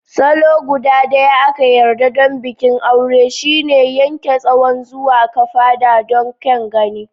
Salo guda daya a ka yarda don bikin aure shine Yanke Tsawon zuwa kafada don kyan gani.